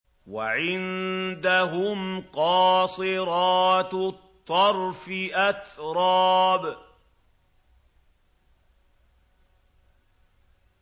۞ وَعِندَهُمْ قَاصِرَاتُ الطَّرْفِ أَتْرَابٌ